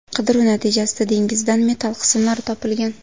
Qidiruv natijasida dengizdan metall qismlari topilgan.